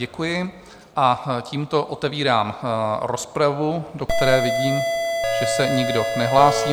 Děkuji a tímto otevírám rozpravu, do které vidím, že se nikdo nehlásí.